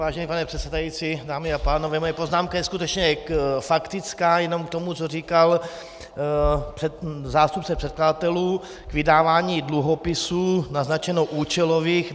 Vážený pane předsedající, dámy a pánové, moje poznámka je skutečně faktická jenom k tomu, co říkal zástupce předkladatelů k vydávání dluhopisů - naznačeno účelových.